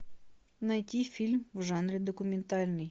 найти фильм в жанре документальный